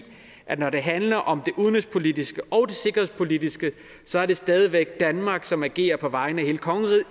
at når det handler om det udenrigspolitiske og det sikkerhedspolitiske så er det stadig væk danmark som agerer på vegne af hele kongeriget